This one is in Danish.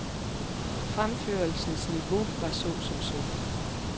Fremførelsens niveau var så som så.